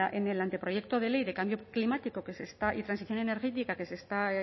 en el anteproyecto de ley de cambio climático y transición energética que está